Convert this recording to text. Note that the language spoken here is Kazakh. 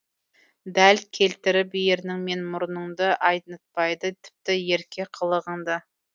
дәл келтіріп ернің мен мұрыныңды айнытпайды тіпті ерке қылығыңды